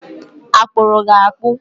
Akpụrụ gi akpụ?